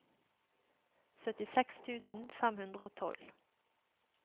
syttiseks tusen fem hundre og tolv